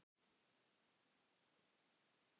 Þá sjaldan við